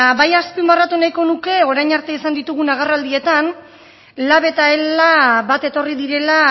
bai azpimarratu nahiko nuke orain arte izan ditugun agerraldietan lab eta ela bat etorri direla